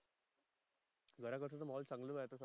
घऱा कळ चे माहोल चांगल राहत